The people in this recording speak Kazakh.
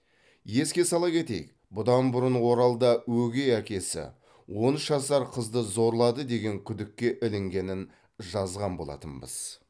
еске сала кетейік бұдан бұрын оралда өгей әкесі он үш жасар қызды зорлады деген күдікке ілінгенін жазған болатынбыз